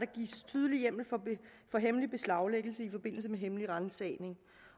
gives tydelig hjemmel for hemmelig beslaglæggelse i forbindelse med hemmelig ransagning